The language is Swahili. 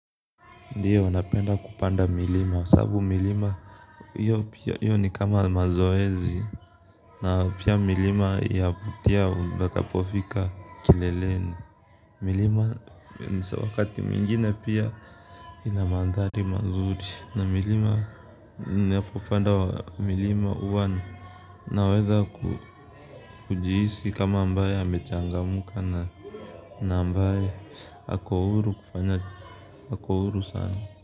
Ndiyo napenda kupanda milima, sababu milima iyo ni kama mazoezi na pia milima yavutia utakapofika kileleni milima nisa wakati mingine pia ina mandhari mazuri na milima ninapopanda milima huwa naweza kujihisi kama ambaye amechangamka na ambaye ako huru kufanya ako huru sana.